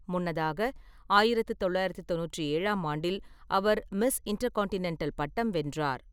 முன்னதாக ஆயிரத்து தொள்ளாயிரத்து தொண்ணூற்றி ஏழாம் ஆண்டில் அவர் மிஸ் இன்டர்கான்டினென்டல் பட்டம் வென்றார்.